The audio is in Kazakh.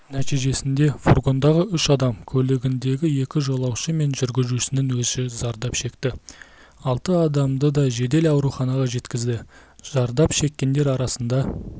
нәтижесінде фургондағы үш адам көлігіндегі екі жолаушы мен жүргізушінің өзі зардап шекті алты адамды да жедел ауруханаға жеткізді зардап шеккендер арасында